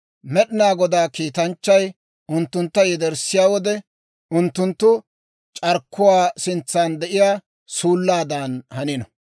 Med'inaa Godaa kiitanchchay unttuntta yederssiyaa wode, unttunttu c'arkkuwaa sintsan de'iyaa suullaadan hanino.